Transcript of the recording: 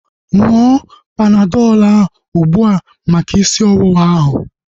Ṅụọ Panadọl a ugbua maka isi ọwụwa ahu